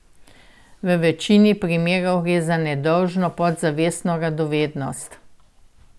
V večini primerov gre za nedolžno podzavestno radovednost.